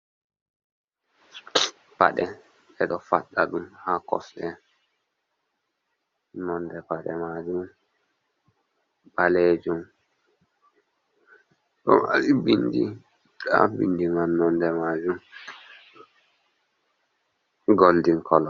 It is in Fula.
Paɗe ɓe ɗo paɗɗa ɗum ha kosɗe, nonde paɗe majum ɓalejum ɗo mari bindi, nonde bindi majum goldin kolo.